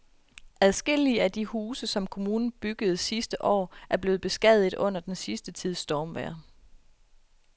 Adskillige af de huse, som kommunen byggede sidste år, er blevet beskadiget under den sidste tids stormvejr.